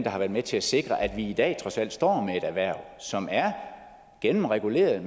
har været med til at sikre at vi i dag trods alt står med et erhverv som er gennemreguleret og